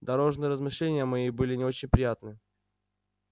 дорожные размышления мои были не очень приятны